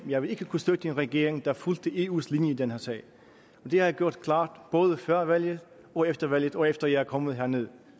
jeg ville ikke kunne støtte en regering der fulgte eus linje i den her sag det har jeg gjort klart både før valget og efter valget og efter jeg er kommet herned